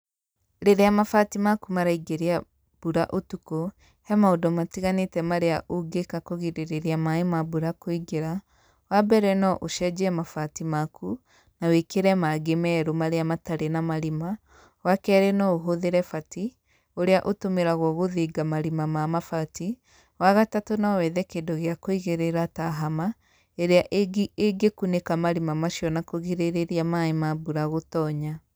Rĩrĩa mabati maku maraingĩria mbura ũtukũ he maũndũ matiganĩte marĩa ũngĩka kũgirĩrĩria maĩ na mbura kũingĩra, wa mbere no ũcenjie mabati maku na wĩkĩre mangĩ merũ marĩa matarĩ na marima, wa kerĩ no ũhũthĩre bati ũrĩa ũtũmĩragwo gũthinga marima ma mabati, wagatatũ no wethe kĩndũ gĩa kũigĩrĩra ta hama, ĩrĩa ĩngĩ ĩngĩ kũnĩka marima macio na kũrigĩrĩria maĩ ma mbura gũtonya.